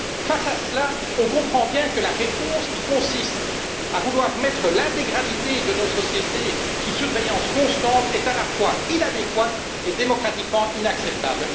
Face à cela, nous comprenons bien que la réponse qui consiste à vouloir mettre l'intégralité de nos sociétés sous surveillance constante est à la fois inadéquate et démocratiquement inacceptable.